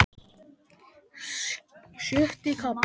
Sjötti kafli